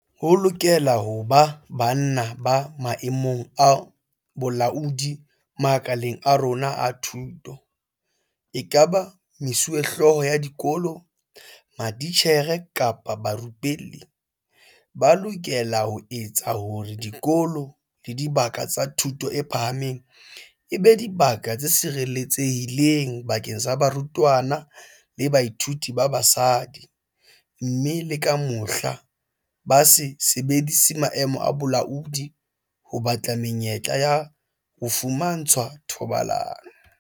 Ho lokela ho ba banna ba maemong a bolaodi makaleng a rona a thuto, ekaba mesuwehlooho ya dikolo, matitjhere kapa barupelli, ba lokelang ho etsa hore dikolo le dibaka tsa thuto e phahameng e be dibaka tse sireletsehileng bakeng sa barutwana le bathuiti ba basadi, mme le ka mohla, ba se sebedise maemo a bolaodi ho batla menyetla ya ho fumantshwa thobalano.